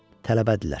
Tələbədirlər.